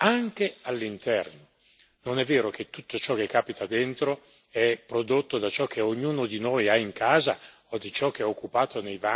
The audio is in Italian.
Non è vero che tutto ciò che capita dentro è prodotto da ciò che ognuno di noi ha in casa o da ciò che occupa i vani e gli appartamenti